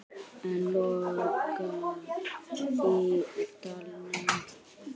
Enn logar í dalnum.